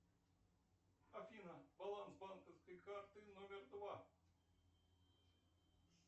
афина баланс банковской карты номер два